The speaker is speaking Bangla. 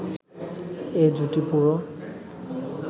এ জুটি পুরো